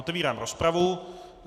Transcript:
Otevírám rozpravu.